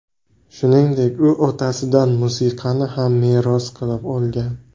Shuningdek, u otasidan musiqani ham meros qilib olgan.